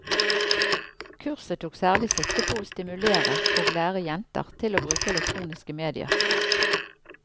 Kurset tok særlig sikte på å stimulere og lære jenter til å bruke elektroniske medier.